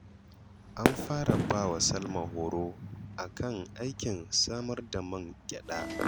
An fara ba wa Salma horo a kan aikin samar da man gyaɗa